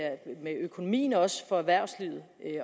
økonomien også for erhvervslivet